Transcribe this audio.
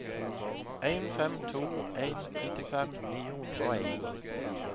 en fem to en nittifem ni hundre og en